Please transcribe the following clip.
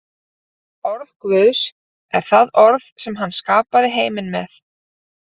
Orð Guðs er það orð sem hann skapaði heiminn með.